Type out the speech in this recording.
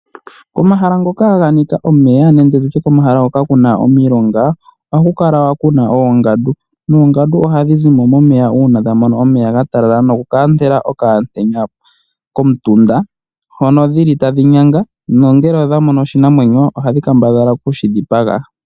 Omahala ngoka ga nika omeya nenge nditye komahala hoka kwa ninga omilonga ohaku kala kuna oongandu noongandu ohadhi zi mo momeya uuna omeya ga talala nokuka entela pomutenya komutunda hono dhili tadhi nyanga nongele odha mono oshinamwenyo ohadhi kambadhala okushi dhipaga.